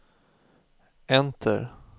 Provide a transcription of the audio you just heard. enter